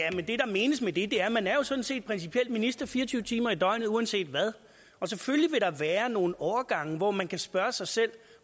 at det der menes med det er at man sådan set principielt er minister fire og tyve timer i døgnet uanset hvad og selvfølgelig vil der være nogle overgange hvor man kan spørge sig selv